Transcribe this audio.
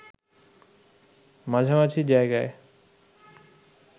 মাঝামাঝি জায়গায়